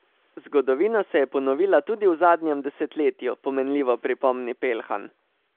Zgodovina se je ponovila tudi v zadnjem desetletju, pomenljivo pripomni Pelhan.